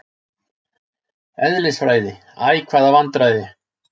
Eðlisfræði, æ hvaða vandræði!